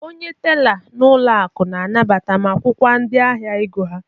Onye tela n'ụlọ akụ na-anabata ma gwọkwa ndị ahịa ego ha.